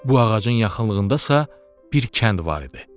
Bu ağacın yaxınlığındasa bir kənd var idi.